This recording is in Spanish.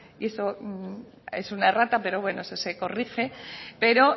eso es una errata pero bueno se corrige pero